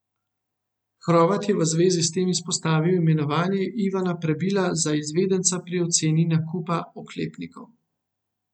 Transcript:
Hrovat je v zvezi s tem izpostavil imenovanje Ivana Prebila za izvedenca pri oceni nakupa oklepnikov.